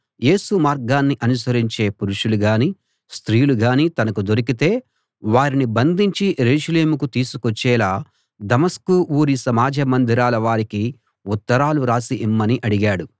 యేసు మార్గాన్ని అనుసరించే పురుషులు గానీ స్త్రీలు గానీ తనకు దొరికితే వారిని బంధించి యెరూషలేముకు తీసికొచ్చేలా దమస్కు ఊరి సమాజ మందిరాల వారికి ఉత్తరాలు రాసి ఇమ్మని అడిగాడు